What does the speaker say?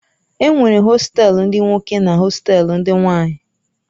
Enwere hostelu ndi nwoke na hostelu ndị nwanyi.